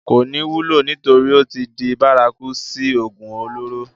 kò ní wúlò nítorí ó tí di bárakú sí ògùn olóró